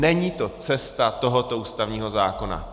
Není to cesta tohoto ústavního zákona.